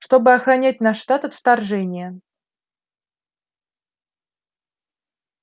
чтобы охранять наш штат от вторжения